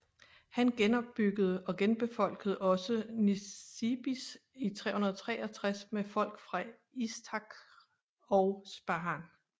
Han genopbyggede og genbefolkede også Nisibis i 363 med folk fra Istakhr og Spahan